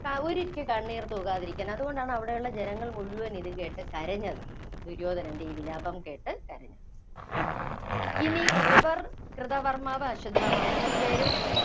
ഒരിറ്റു കണ്ണീര്‍ തൂകാതിരിക്കാന്‍, അതുകൊണ്ടാണ് അവിടുള്ള ജനങ്ങള്‍ മുഴുവന്‍ ഇത് കേട്ട് കരഞ്ഞത്. ദുര്യോധനന്‍റെ ഈ വിലാപം കേട്ട് കരഞ്ഞത്. ഇനി കൃപര്‍, കൃതകർമാവ്, അശ്വത്ഥമാവ് മൂന്നുപേരും